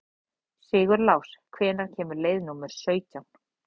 Sigurlás, hvenær kemur leið númer sautján?